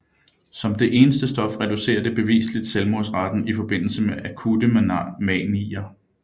Som det eneste stof reducerer det beviseligt selvmordsraten i forbindelse med akutte manier